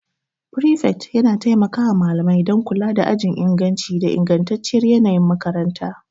Prefect yana taimaka wa malamai don kula da ajin inganci da ingantacciyar yanayin makaranta.